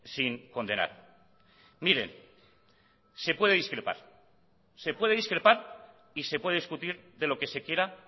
sin condenar miren se puede discrepar se puede discrepar y se puede discutir de lo que se quiera